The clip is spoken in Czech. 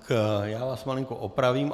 Já vás malinko opravím.